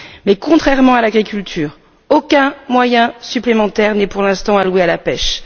Mais contrairement à l'agriculture, aucun moyen supplémentaire n'est pour l'instant alloué à la pêche.